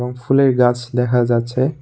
এবং ফুলের গাছ দেখা যাচ্ছে।